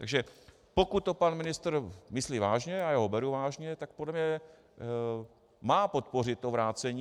Takže pokud to pan ministr myslí vážně, a já ho beru vážně, tak podle mě má podpořit to vrácení.